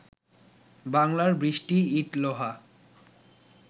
বাংলার বৃষ্টি ইট, লোহা